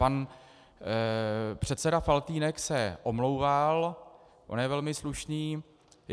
Pan předseda Faltýnek se omlouval, on je velmi slušný.